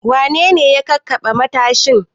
Wane ne ya kakkaɓe matashin?